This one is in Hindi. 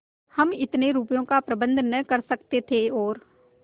हम इतने रुपयों का प्रबंध न कर सकते थे और